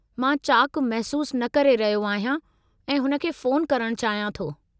मां चाक़ु महसूसु न करे रहियो आहियां ऐं हुन खे फ़ोनु करणु चाहियां थो।